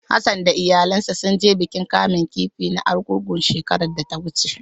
Hassan da iyalansa sun je bikin kamun kifi na Argungu shekarar da ta wuce.